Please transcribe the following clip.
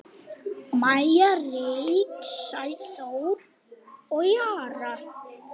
Maja, Ríkey, Sæþór og Jara.